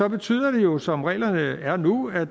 betyder det jo som reglerne er nu at